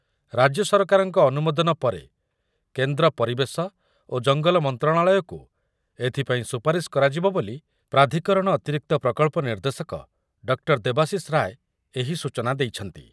ରାଜ୍ୟ ସରକାରଙ୍କ ଅନୁମୋଦନ ପରେ କେନ୍ଦ୍ର ପରିବେଶ ଓ ଜଙ୍ଗଲ ମନ୍ତ୍ରଣାଳୟକୁ ଏଥିପାଇଁ ସୁପାରିସ କରାଯିବ ବୋଲି ପ୍ରାଧିକରଣ ଅତିରିକ୍ତ ପ୍ରକଳ୍ପ ନିର୍ଦ୍ଦେଶକ ଡଃ ଦେବାଶିଷ ରାୟ ଏହି ସୂଚନା ଦେଇଛନ୍ତି ।